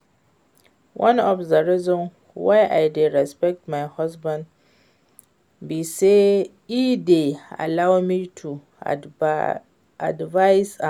One of the reasons why I dey respect my husband be say e dey allow me to advice am